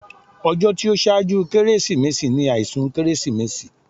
Ọjọ́ tí ó ṣáájú Kérésìmesì ni àìsùn Kérésìmesì